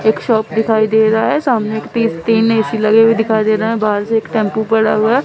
एक शॉप दिखाई दे रहा है सामने एक तीन ए_सी लगे हुए दिखाई दे रहा है बाहर से एक टेंपो पड़ा हुआ--